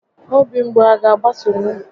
Obi mgbu a ga agbatunwu?